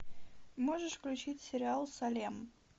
можешь включить сериал салем